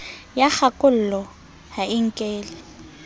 ya kgakollo ha e nkele